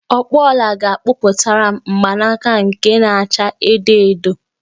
Ọkpụ ọla ga-akpụtaram mgbanaka nke na-acha edo edo